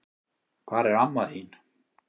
Hvar er amma þín?